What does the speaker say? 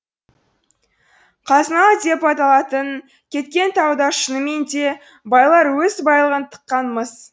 қазыналы деп аталып кеткен тауда шынымен де байлар өз байлығын тыққан мыс